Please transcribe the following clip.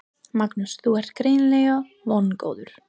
Magnús: Þú ert greinilega vongóður?